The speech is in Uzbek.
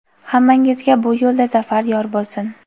Hammangizga bu yo‘lda zafar yor bo‘lsin.